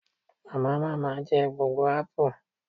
Mamamama je gbogbo apu